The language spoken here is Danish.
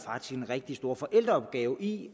en rigtig stor forældreopgave i